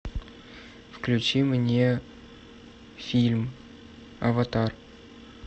включи мне фильм аватар